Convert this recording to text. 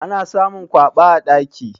Ana samun kwaba a daki.